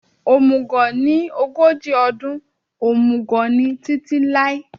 Omùgọ̀ ni ogójì ọdún, omùgọ̀ ni títí láé